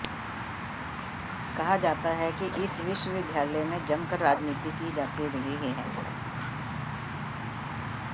कहा जाता है कि इस विश्वविद्यालय में जमकर राजनीति की जाती रही है